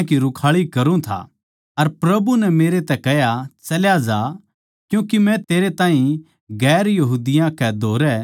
अर प्रभु नै मेरै तै कह्या चल्या जा क्यूँके मै तेरै ताहीं दुसरी जात्तां कै धोरै दूरदूर भेज्जूंगा